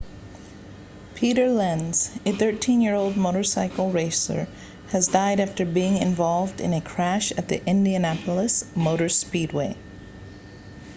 peter lenz a 13-year-old motorcycle racer has died after being involved in a crash at the indianapolis motor speedway